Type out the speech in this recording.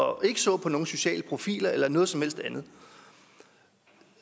og ikke så på nogen sociale profiler eller noget som helst andet